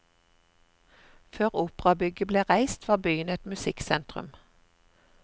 Før operabygget ble reist, var byen et musikksentrum.